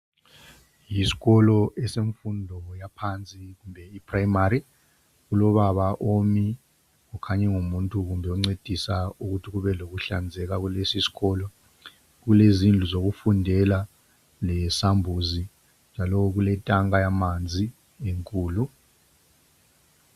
Isikolo esemfundo yaphansi kumbe iprimary kulobaba omi kukhanya kumbe kungumuntu oncedisa ukuthi kube lokuhlanzeka esikolo. Kulezindlu zokufundela lesambuzi njalo kuletanka yamanzi enkulu.